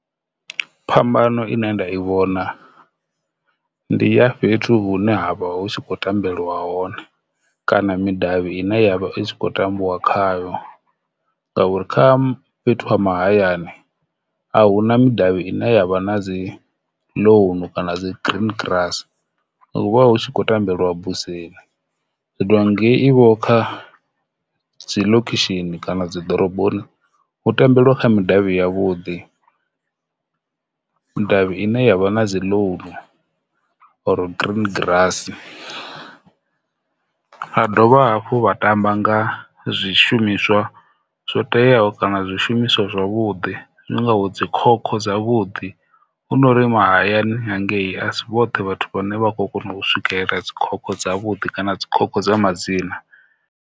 Phambano ine nda i vhona ndi ya fhethu hune ha vha hu tshi khou tambeliwa hone kana midavhi ine yavha i kho tambiwa khayo ngauri kha fhethu ha mahayani a hu na midavhi ine yavha na dzi ḽounu kana dzi green grass hu vha hu tshi khou tambelwa buseni, zwino ngei vho kha dzi ḽokushini kana dzi ḓoroboni hu tambeliwa kha midavhi ya vhuḓi mudavhi ine yavha na dzi ḽounu kana dzi green grass. Ha dovha hafhu vha tamba nga zwishumiswa zwo teaho kana zwishumiswa zwavhuḓi zwi ngaho dzikhokho dza vhuḓi hu na uri mahayani hangei asi vhoṱhe vhathu vhane vha kho kona u swikelela dzi khokho dza vhuḓi kana dzi khokho dza madzina.